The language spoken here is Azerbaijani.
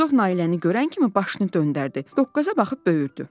Buzov Nailəni görən kimi başını döndərdi, doqqaza baxıb böyürdü.